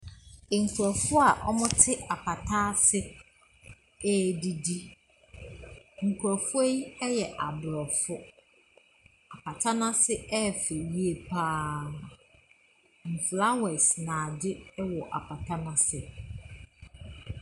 Nkurɔfo a wɔte apata ase ɛredidi. Nkurɔfoɔ yi yɛ aborɔfo, pata n’ase ɛyɛ fɛ yie pa ara, flowers na adze wɔ apata n’ase.